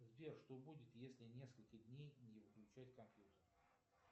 сбер что будет если несколько дней не выключать компьютер